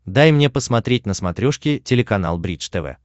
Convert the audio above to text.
дай мне посмотреть на смотрешке телеканал бридж тв